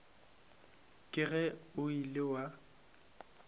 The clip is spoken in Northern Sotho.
ke ge o ile wa